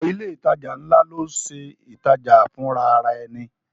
Ọ̀pọ̀ ilé ìtajà ńlá ló ń ṣe ìtajà fùnrarẹni